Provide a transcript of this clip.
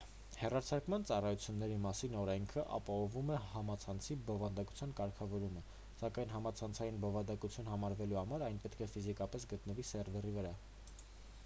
հեռարձակման ծառայությունների մասին օրենքն ապահովում է համացանցի բովանդակության կարգավորումը սակայն համացանցային բովանդակություն համարվելու համար այն պետք է ֆիզիկապես գտնվի սերվերի վրա